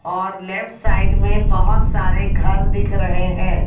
और left side में बहुत सारे घर दिख रहे हैं।